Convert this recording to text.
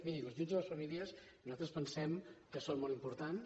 miri els ajuts a les famílies nosaltres pensem que són molt importants